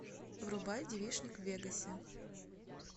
врубай девичник в вегасе